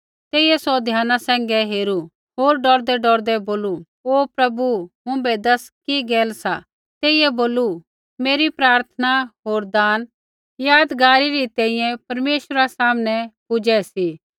तेइयै सौ ध्याना सैंघै हेरू होर डौरदैडौरदै बोलू हे प्रभु मुँभै दस कि गैल सा तेइयै बोलू तेरी प्रार्थना होर दान यादगारी री तैंईंयैं परमेश्वरा सामनै पुजै सी